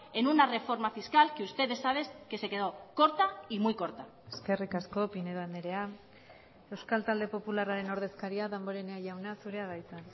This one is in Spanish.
en una reforma fiscal que ustedes saben que se quedo corta y muy corta eskerrik asko pinedo andrea euskal talde popularraren ordezkaria damborenea jauna zurea da hitza